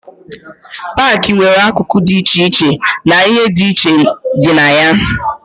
Paakị nwere akụkụ dị iche iche na ihe dị iche dị na ya.